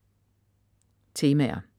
Temaer